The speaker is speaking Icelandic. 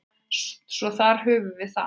Svo þar höfum við það.